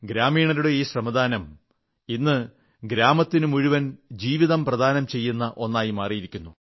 ഗ്രാമീണരുടെ ഈ ശ്രമദാനം ഇന്ന് ഗ്രാമത്തിനു മുഴുവൻ ജീവിതം ദാനം ചെയ്യുന്ന ഒന്നായി മാറിയിരിക്കുന്നു